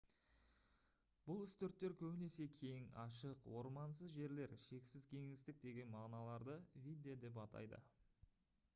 бұл үстірттер көбінесе кең ашық ормансыз жерлер шексіз кеңістік деген мағыналарды «видде» деп атайды